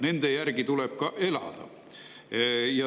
Nende järgi tuleb ka elada.